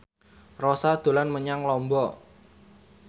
Rossa dolan menyang Lombok